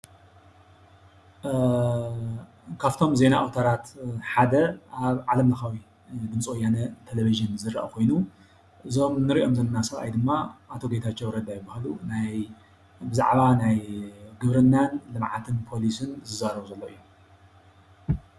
ካብቶም ዜና ኣውታራት ሓደ ዓለምለኻዊ ድምፀ ወያነ ቴሌቭዥን ዝርአ ኮይኑ እዞም እንሪኦም ዘለና ሰብኣይ ድማ ኣቶ ጌታቸው ረዳ ይበሃሉ ብዛዕባ ናይ ግብርናን ልምዓትን ፖሊሲ ዝዛረቡ ዘልዉ እዮም።